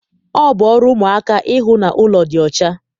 Ọ bụ ọrụ ụmụaka ịhụ na ụlọ dị ọcha